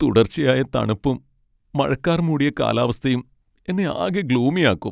തുടർച്ചയായ തണുപ്പും മഴക്കാർ മൂടിയ കാലാവസ്ഥയും എന്നെ ആകെ ഗ്ലൂമിയാക്കും.